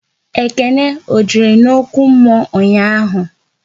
Ekene ọ jere n'okwu mmụọ ụnyaahụ?